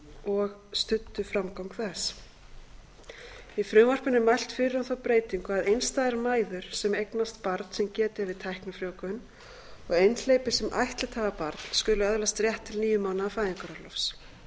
og eða studdu framgang þess í frumvarpinu er mælt fyrir um þá breytingu að einstæðar mæður sem eignast barn sem getið er við tæknifrjóvgun og einhleypir sem ættleitt hafa barn skuli öðlast rétt til níu mánaða fæðingarorlofs í